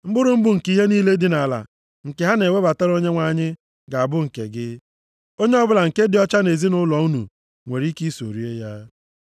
Mkpụrụ mbụ nke ihe niile dị nʼala nke ha na-ewebatara Onyenwe anyị, ga-abụ nke gị. Onye ọbụla nke dị ọcha nʼezinaụlọ unu nwere ike iso rie ya.